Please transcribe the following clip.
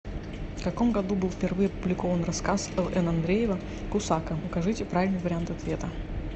в каком году был впервые опубликован рассказ л н андреева кусака укажите правильный вариант ответа